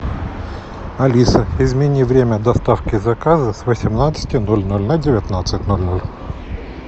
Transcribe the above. алиса измени время доставки заказа с восемнадцати ноль ноль на девятнадцать ноль ноль